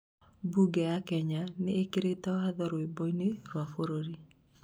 mbunge ya Kenya nĩikirĩte watho rwimbo-inĩ rwa bũrũri